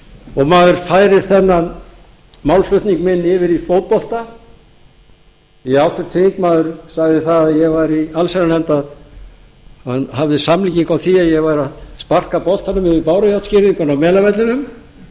og maður færir þennan málflutning minn yfir í fótbolta því háttvirtur þingmaður sagði að ég væri í allsherjarnefnd að hann hafði samlíkingu á því að ég væri að sparka boltanum yfir bárujárnsgirðinguna á melavellinum að